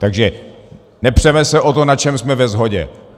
Takže nepřeme se o to, na čem jsme ve shodě.